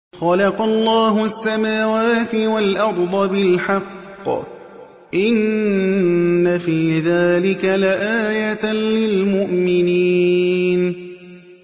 خَلَقَ اللَّهُ السَّمَاوَاتِ وَالْأَرْضَ بِالْحَقِّ ۚ إِنَّ فِي ذَٰلِكَ لَآيَةً لِّلْمُؤْمِنِينَ